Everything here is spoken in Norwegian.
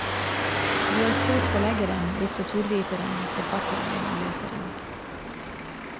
Vi har spurt forleggeren, litteraturviteren, forfatteren og leseren.